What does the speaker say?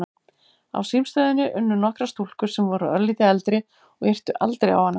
Á símstöðinni unnu nokkrar stúlkur sem voru örlítið eldri og yrtu aldrei á hana.